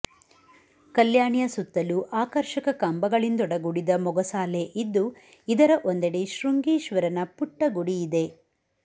ಕಲ್ಯಾಾಣಿಯ ಸುತ್ತಲೂ ಆಕರ್ಷಕ ಕಂಬಗಳಿಂದೊಡಗೂಡಿದ ಮೊಗಸಾಲೆ ಇದ್ದು ಇದರ ಒಂದೆಡೆ ಶೃಂಗೀಶ್ವರನ ಪುಟ್ಟ ಗುಡಿ ಇದೆ